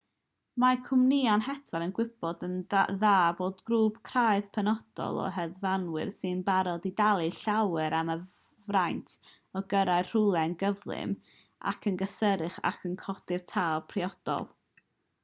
mae cwmnïau hedfan yn gwybod yn dda bod grŵp craidd penodol o hedfanwyr sy'n barod i dalu llawer am y fraint o gyrraedd rhywle yn gyflym ac yn gysurus ac yn codi'r tâl priodol